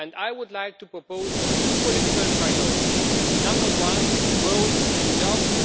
I would like to propose two political priorities number one, growth and jobs